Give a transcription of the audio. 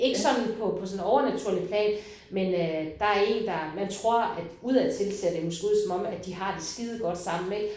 Ikke sådan på på sådan en overnaturligt plan men øh der er en der man tror at udad til ser det måske ud som om at de har det skidegodt sammen ik